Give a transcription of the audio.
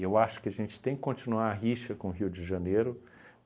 acho que a gente tem que continuar a rixa com Rio de Janeiro.